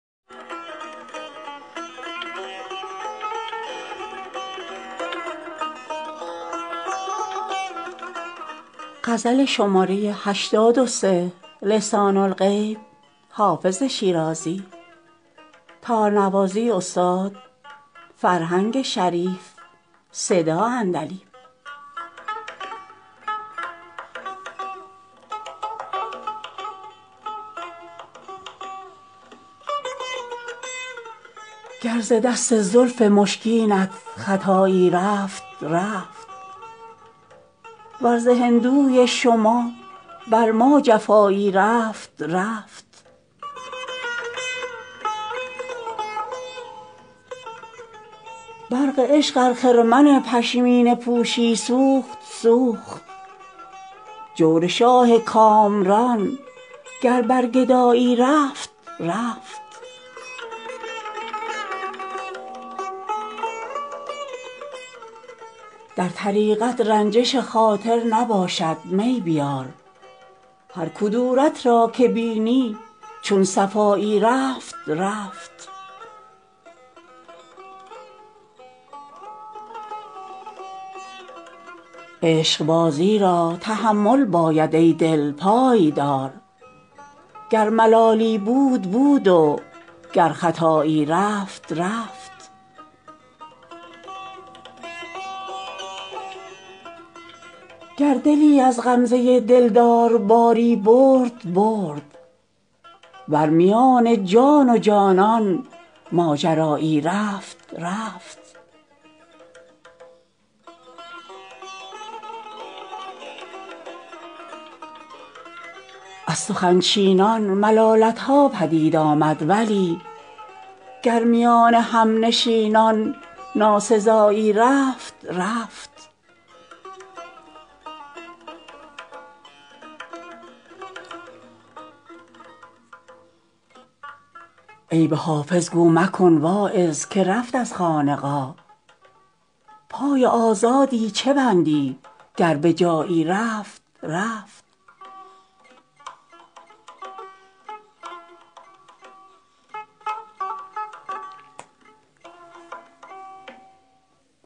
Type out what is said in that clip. گر ز دست زلف مشکینت خطایی رفت رفت ور ز هندوی شما بر ما جفایی رفت رفت برق عشق ار خرمن پشمینه پوشی سوخت سوخت جور شاه کامران گر بر گدایی رفت رفت در طریقت رنجش خاطر نباشد می بیار هر کدورت را که بینی چون صفایی رفت رفت عشقبازی را تحمل باید ای دل پای دار گر ملالی بود بود و گر خطایی رفت رفت گر دلی از غمزه دلدار باری برد برد ور میان جان و جانان ماجرایی رفت رفت از سخن چینان ملالت ها پدید آمد ولی گر میان همنشینان ناسزایی رفت رفت عیب حافظ گو مکن واعظ که رفت از خانقاه پای آزادی چه بندی گر به جایی رفت رفت